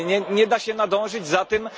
Nie da się nadążyć za tym,